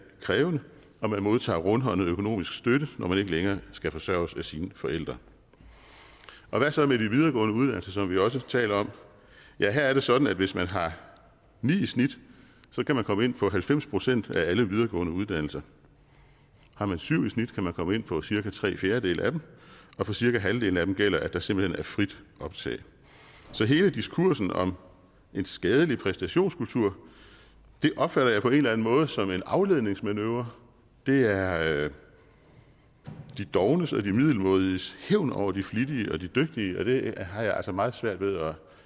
krævende og man modtager rundhåndet økonomisk støtte når man ikke længere skal forsørges af sine forældre hvad så med de videregående uddannelser som vi også taler om ja her er det sådan at hvis man har ni i snit kan man komme ind på halvfems procent af alle videregående uddannelser har man syv i snit kan man komme ind på cirka tre fjerdedele af dem og for cirka halvdelen af dem gælder at der simpelt hen er frit optag så hele diskursen om en skadelig præstationskultur opfatter jeg på en måde som en afledningsmanøvre det er de dovnes og de middelmådiges hævn over de flittige og de dygtige og det har jeg altså meget svært ved